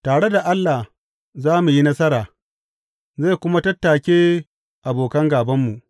Tare da Allah za mu yi nasara, zai kuma tattake abokan gābanmu.